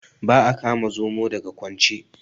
Ba a kama Zomo daga kwance.